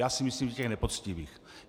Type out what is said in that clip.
Já si myslím, že těch nepoctivých.